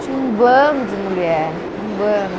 Tinha um bando de mulher, um bando.